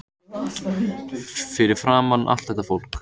Fyrir framan allt þetta fólk.